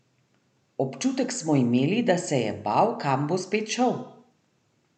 Občutek smo imeli, da se je bal, kam bo spet šel.